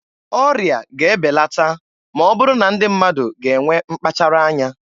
Ọrịa ga-ebelata ma ọ bụrụ na ndị mmadụ ga-enwe mkpachara anya.